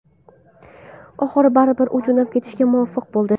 Oxiri, baribir u jo‘nab ketishga muvaffaq bo‘ldi.